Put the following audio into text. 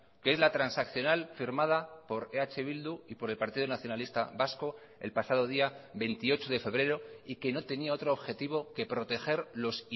que es la transaccional firmada por eh bildu y por el partido nacionalista vasco el pasado día veintiocho de febrero y que no tenía otro objetivo que proteger los